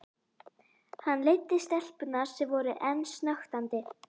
Hann leiddi stelpurnar, sem voru enn snöktandi.